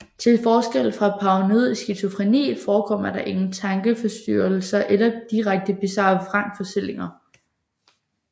Til forskel fra paranoid skizofreni forekommer der ingen tankeforstyrrelser eller direkte bizarre vrangforestillinger